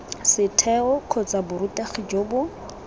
setheo kgotsa borutegi jo bo